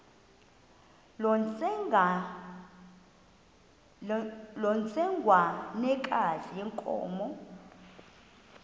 loo ntsengwanekazi yenkomo